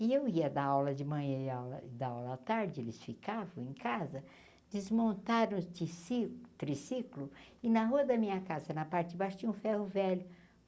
E eu ia dar aula de manhã e aula dar aula à tarde, eles ficavam em casa, desmontaram o tici triciclo e na rua da minha casa, na parte de baixo, tinha um ferro velho.